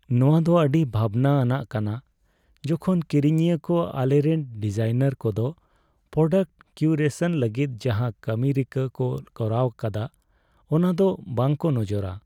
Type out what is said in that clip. ᱱᱚᱶᱟ ᱫᱚ ᱟᱹᱰᱤ ᱵᱷᱟᱵᱽᱱᱟ ᱟᱱᱟᱜ ᱠᱟᱱᱟ , ᱡᱚᱠᱷᱚᱱ ᱠᱤᱨᱤᱧᱤᱭᱟᱹ ᱠᱚ ᱟᱞᱮᱨᱮᱱ ᱰᱤᱡᱟᱭᱱᱟᱨ ᱠᱚᱫᱚ ᱯᱨᱳᱰᱟᱠᱴ ᱠᱤᱭᱩᱨᱮᱥᱚᱱ ᱞᱟᱹᱜᱤᱫ ᱡᱟᱦᱟᱸ ᱠᱟᱹᱢᱤ ᱨᱤᱠᱟᱹ ᱠᱚ ᱠᱚᱨᱟᱣ ᱟᱠᱟᱫᱟ ᱚᱱᱟ ᱫᱚ ᱵᱟᱝ ᱠᱚ ᱱᱚᱡᱚᱨᱟ ᱾